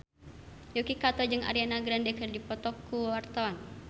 Yuki Kato jeung Ariana Grande keur dipoto ku wartawan